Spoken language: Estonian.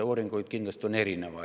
Uuringuid on kindlasti erinevaid.